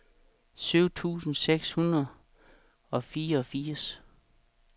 syv tusind seks hundrede og fireogfirs